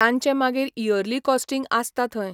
तांचे मागीर yearly costing आसता थंय.